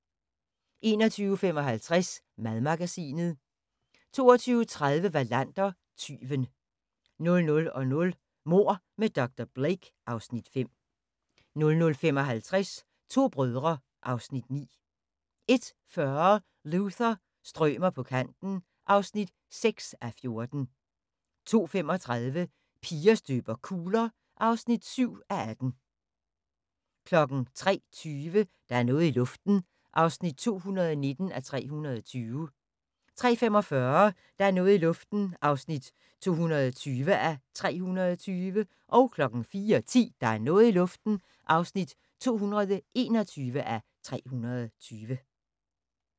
21:55: Madmagasinet 22:30: Wallander: Tyven 00:00: Mord med dr. Blake (Afs. 5) 00:55: To brødre (Afs. 9) 01:40: Luther – strømer på kanten (6:14) 02:35: Piger støber kugler (7:18) 03:20: Der er noget i luften (219:320) 03:45: Der er noget i luften (220:320) 04:10: Der er noget i luften (221:320)